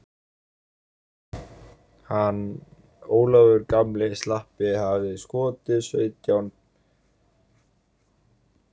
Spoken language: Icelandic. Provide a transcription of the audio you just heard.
Hann Ólafur gamli slampi hafði skotið sautján sperrum undir sína súð áður en hún hrundi.